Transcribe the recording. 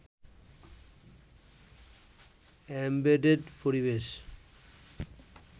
embedded পরিবেশ